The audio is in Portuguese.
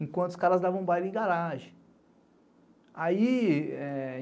Enquanto os caras davam baile em garagem. ai...